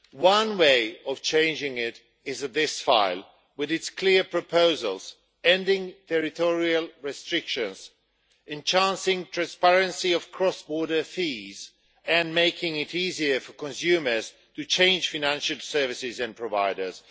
One way of changing it is with this file, with its clear proposals ending territorial restrictions, enhancing transparency of cross border fees, and making it easier for consumers to change financial services and providers.